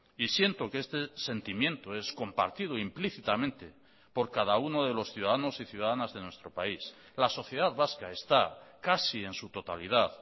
y siento que este sentimiento es compartido implícitamente por cada uno de los ciudadanos y ciudadanas de nuestro país la sociedad vasca está casi en su totalidad